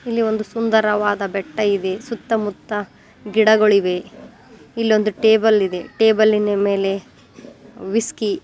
ಇಲ್ಲಿ ಒಂದು ಸುಂದರವಾದ ಬೆಟ್ಟ ಇದೆ ಸುತ್ತಮುತ್ತ ಗಿಡಗಳಿವೆ ಇಲ್ಲೊಂದು ಟೇಬಲ್ ಇದೆ ಟೇಬಲ್ನ ಮೇಲೆ ವಿಸ್ಕಿ .